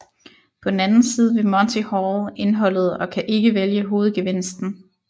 På den anden side ved Monty Hall indholdet og kan ikke vælge hovedgevinsten